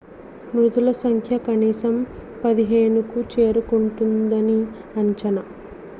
మృతుల సంఖ్య కనీసం 15కు చేరుకుంటుందని అంచనా